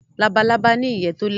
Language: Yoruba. Labalábá ní ìyè to lẹwa